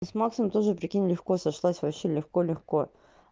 с максом тоже прикинь легко сошлась вообще легко легко